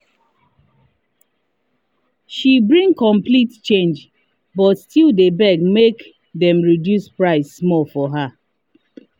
she bring complete change but still deh beg make dem reduce price small for her.